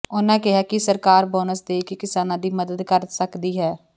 ਉਨ੍ਹਾਂ ਕਿਹਾ ਕਿ ਸਰਕਾਰ ਬੋਨਸ ਦੇ ਕੇ ਕਿਸਾਨਾਂ ਦੀ ਮਦਦ ਕਰ ਸਕਦੀ ਹੈ